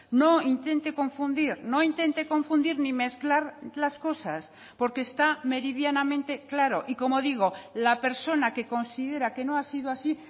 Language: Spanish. no intente confundir no intente confundir ni mezclar las cosas porque está meridianamente claro y como digo la persona que considera que no ha sido así